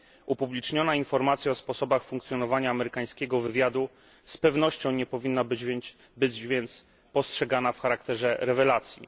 Upubliczniona informacja o sposobach funkcjonowania amerykańskiego wywiadu z pewnością nie powinna być więc postrzegana w charakterze rewelacji.